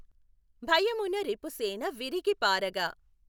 భయమున రిపుసేన విఱిగి పాఱగ!